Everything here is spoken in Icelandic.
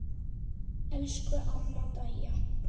Elsku amma Dæja.